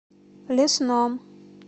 лесном